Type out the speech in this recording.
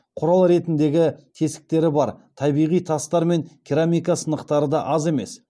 құрал ретіндегі тесіктері бар табиғи тастар мен керамика сынықтары да аз емес